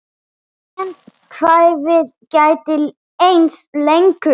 En kvefið gæti enst lengur.